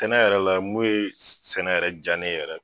Sɛnɛ yɛrɛ la mun ye sɛnɛ yɛrɛ ja ne ye yɛrɛ